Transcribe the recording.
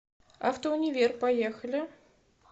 автоунивер поехали